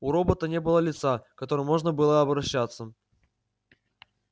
у робота не было лица к которому можно было бы обращаться